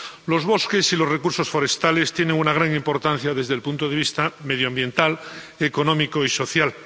Los bosques y los recursos forestales tienen una gran importancia desde el punto de vista medioambiental, económico y social.